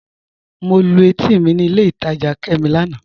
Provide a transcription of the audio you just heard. Mọ̀ lú ètì mi ní ilẹ̀ ìtajá Kẹ́mí lánà.